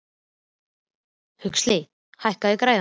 Huxley, hækkaðu í græjunum.